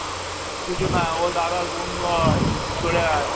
ও কিছু না ও দাদার বন্ধু হয় তুই সরে আয়।